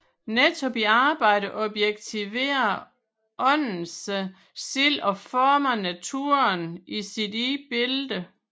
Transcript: Netop i arbejdet objektiverer Ånden sig selv og former naturen i sit eget billede